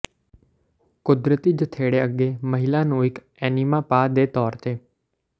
ਕੁਦਰਤੀ ਜਣੇਪੇ ਅੱਗੇ ਮਹਿਲਾ ਨੂੰ ਇੱਕ ਏਨੀਮਾ ਪਾ ਦੇ ਤੌਰ ਤੇ